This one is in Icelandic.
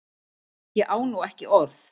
Ég á nú ekki orð!